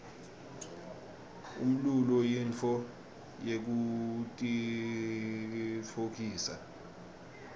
umlulo yintfo yekutitfokotisa